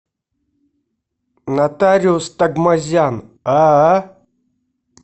нотариус такмазян аа